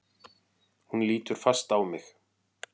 Hún lítur fast á mig.